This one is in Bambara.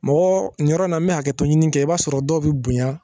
Mɔgɔ nin yɔrɔ in n bɛ hakɛtɔ ɲini kɛ i b'a sɔrɔ dɔw bɛ bonya